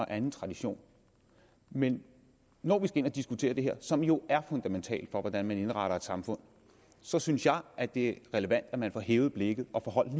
anden tradition men når vi skal diskutere det her som jo er fundamentalt for hvordan man indretter et samfund så synes jeg at det er relevant at man får hævet blikket og holdt